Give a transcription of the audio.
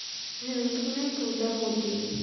হ্যাঁ ওটা মনে হয় প্রজাপতি